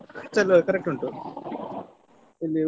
Bus ಎಲ್ಲ correct ಉಂಟು ಇದು Udupi .